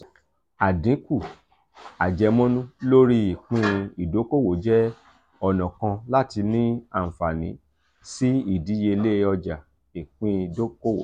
adinku ajemonu lori ipin idokowo je ona kan lati ni anfani si idiyele oja iipin dokowo